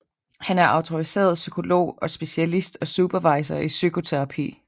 Han er autoriseret psykolog og specialist og supervisor i psykoterapi